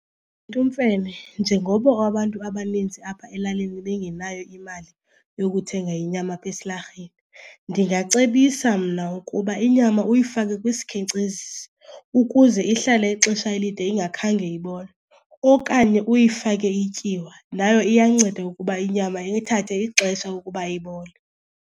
njengoba abantu abaninzi apha elalini bengenayo imali yokuthenga inyama apha esilarheni ndingacebisa mna ukuba inyama uyifake kwisikhenkcezisi ukuze ihlale ixesha elide ingakhange ibole. Okanye uyifake ityiwa nayo iyanceda ukuba inyama ithathe ixesha ukuba ibole.